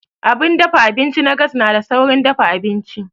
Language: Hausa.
Abun dafa abinci na gas na da saurin dafa abinci.